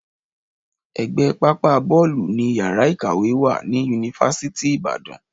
Ẹ̀gbẹ́ pápá bọ́ọ̀lù ni yàrá ìkàwé wà ní yunifásítì Ìbàdàn